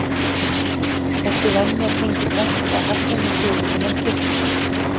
Þessi venja tengist væntanlega hefðum og siðum innan kirkjunnar.